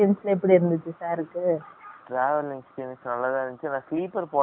travel experience நல்ல தான் இருந்துச்சு என்ன நானு sleeper போடாம பொய்டென்